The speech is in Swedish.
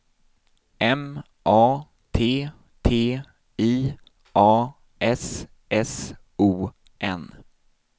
M A T T I A S S O N